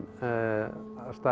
af stað í